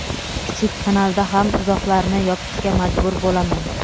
kichik kanalda ham izohlarni yopishga majbur bo‘laman.